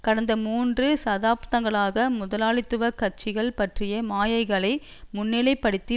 கடந்த மூன்று சதாப்தன்களாக முதலாளித்துவ கட்சிகள் பற்றிய மாயைகளை முன்னிலைப்படுத்தி